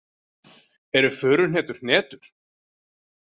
Eru furuhnetur hnetur?